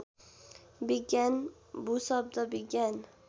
विज्ञान भूशब्द विज्ञान